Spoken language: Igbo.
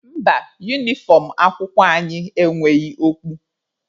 Mba, unifọm akwụkwọ anyị enweghị okpu.